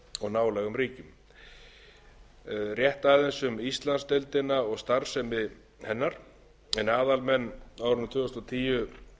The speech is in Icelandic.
nálægum ríkjum rétt aðeins um íslandsdeildina og starfsemi hennar en aðalmenn árið tvö þúsund og tíu